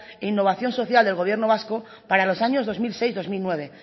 e innovación social del gobierno vasco para los años dos mil seis dos mil nueve